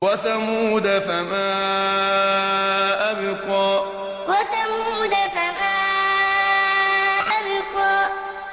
وَثَمُودَ فَمَا أَبْقَىٰ وَثَمُودَ فَمَا أَبْقَىٰ